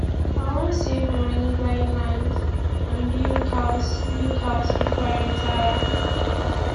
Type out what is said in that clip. i wan save money buy land and build house build house before i retire